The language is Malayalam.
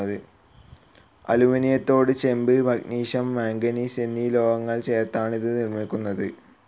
അലൂമിനിയത്തോട് ചെമ്പ്, മഗ്നീഷിയം, മാംഗനീസ്‌ എന്നീ ലോഹങ്ങൾ ചേർത്താണിത് നിർമ്മിക്കുന്നത്.